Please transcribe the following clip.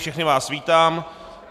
Všechny vás vítám.